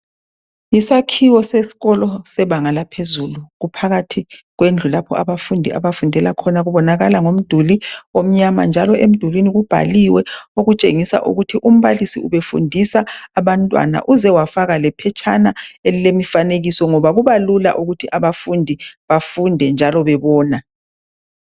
Isakhiwo sesikolo sebanga laphezulu kuphakathi kwendlu lapho abafundi abafundela khona kubonakala ngomduli omnyama njalo emdulwini kubhaliwe okutshengisa ukuthi umbalisi ubefundisa abantwana uzewafaka lephetshana elilemfanekiso ngoba kubalula ukuthi abafundi bafunde njalo bebona.